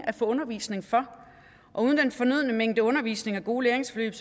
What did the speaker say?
at få undervisning for og uden den fornødne mængde undervisning og gode læringsforløb